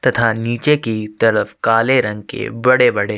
तथा नीचे की तरफ काले रंग के बड़े -बड़े --